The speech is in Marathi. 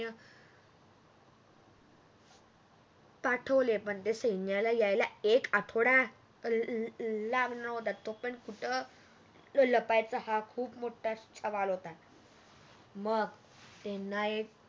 पाठवले पण त्या सैन्याला यायला एक आठवडा ला लागणार होता तो पर्यंत कुठ लपायच हा मोठा सवाल होता मग त्यांना एक